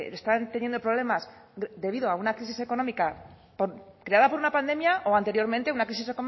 están teniendo problemas debido a una crisis económica creada por una pandemia o anteriormente una crisis